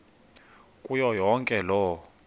kuyo yonke loo